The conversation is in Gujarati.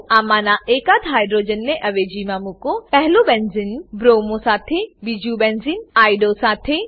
આમાંના એકાદ હાઇડ્રોજનની અવેજીમાં મુકો પહેલું બેન્ઝીન બ્રોમો બ્રોમો સાથે બીજું બેન્ઝીન આઇઓડીઓ આયોડો સાથે